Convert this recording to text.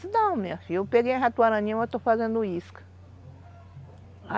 Se não, minha filha, eu peguei ratoaraninha, mas eu estou fazendo isca.